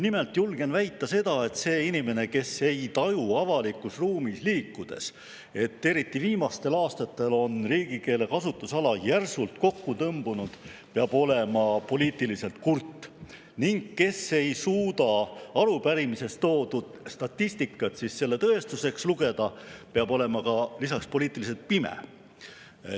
Nimelt julgen väita seda, et see inimene, kes ei taju avalikus ruumis liikudes, et eriti viimastel aastatel on riigikeele kasutusala järsult kokku tõmbunud, peab olema poliitiliselt kurt, ning, kes ei suuda arupärimises toodud statistikat selle tõestuseks, peab olema lisaks poliitiliselt pime.